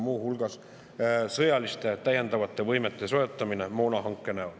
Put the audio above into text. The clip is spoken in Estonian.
Muu hulgas täiendavate sõjaliste võimete soetamine moonahanke näol.